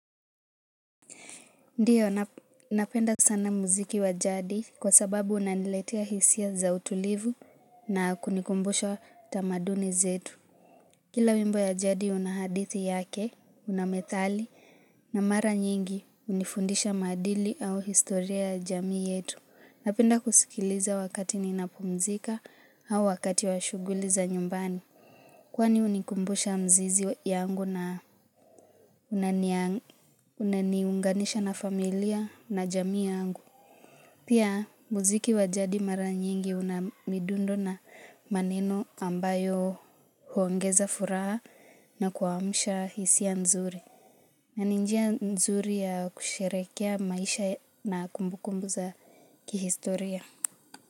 Ndio, napenda sana muziki wa jadi kwa sababu unaniletia hisia za utulivu na kunikumbusha tamaduni zetu. Kila wimbo ya jadi unahadithi yake, unamethali na mara nyingi hunifundisha maadili au historia ya jamii yetu. Napenda kusikiliza wakati ninapumzika au wakati washughuli za nyumbani. Kwani hunikumbusha mzizi yangu na unania Unaniunganisha na familia na jamii yangu Pia muziki wa jadi mara nyingi unamidundo na maneno ambayo huongeza furaha na kuamusha hisia nzuri na ni njia nzuri ya kusherehekea maisha na kumbukumbu za kihistoria.